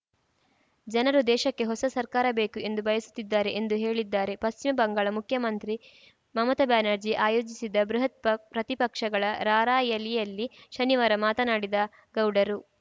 ಜನರು ದೇಶಕ್ಕೆ ಹೊಸ ಸರ್ಕಾರ ಬೇಕು ಎಂದು ಬಯಸುತ್ತಿದ್ದಾರೆ ಎಂದು ಹೇಳಿದ್ದಾರೆ ಪಶ್ಚಿಮಬಂಗಾಳ ಮುಖ್ಯಮಂತ್ರಿ ಮಮತಾ ಬ್ಯಾನರ್ಜಿ ಆಯೋಜಿಸಿದ್ದ ಬೃಹತ್‌ ಪ್ರತಿಪಕ್ಷಗಳ ರಾರ‍ಯಲಿಯಲ್ಲಿ ಶನಿವಾರ ಮಾತನಾಡಿದ ಗೌಡರು